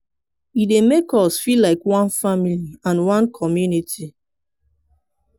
e dey make us feel like one family and one community.